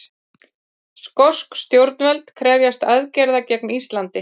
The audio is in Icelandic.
Skosk stjórnvöld krefjast aðgerða gegn Íslandi